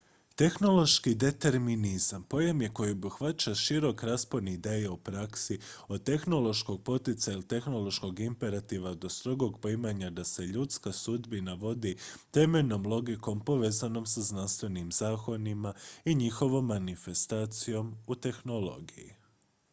tehnološki determinizam pojam je koji obuhvaća širok raspon ideja u praksi od tehnološkog poticaja ili tehnološkog imperativa do strogog poimanja da se ljudska sudbina vodi temeljnom logikom povezanom sa znanstvenim zakonima i njihovom manifestacijom u tehnologiji